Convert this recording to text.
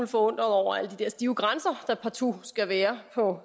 forundret over alle de der stive grænser der partout skal være på